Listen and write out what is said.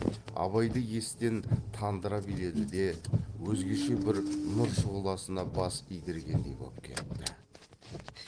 абайды естен тандыра биледі де өзгеше бір нұр шұғыласына бас идіргендей боп кетті